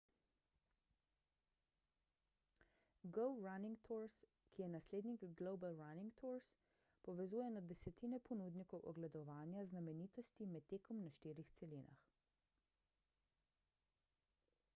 go running tours ki je naslednik global running tours povezuje na desetine ponudnikov ogledovanja znamenitosti med tekom na štirih celinah